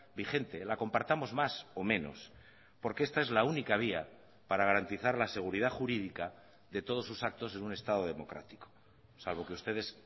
vigente la compartamos más o menos porque esta es la única vía para garantizar la seguridad jurídica de todos sus actos en un estado democrático salvo que ustedes